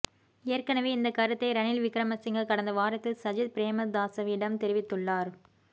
ஏற்கனவே இந்த கருத்தை ரணில் விக்கிரமசிங்க கடந்த வாரத்தில் சஜித் பிரேமதாசவிடம் தெரிவித்துள்ளார்